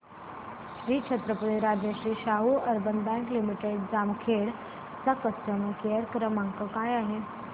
Shri Chhatrapati Rajshri Shahu urban bank limited Jamkhed चा customer care क्रमांक काय आहे